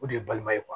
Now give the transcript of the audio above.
O de ye balima ye